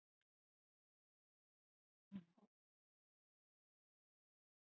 Kristján Már Unnarsson: Hvað dugar?